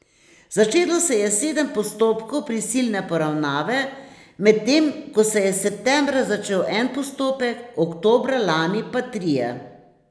Začelo se je sedem postopkov prisilne poravnave, medtem ko se je septembra začel en postopek, oktobra lani pa trije.